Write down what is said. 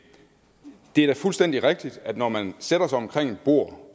er da fuldstændig rigtigt at det når man sætter sig omkring et bord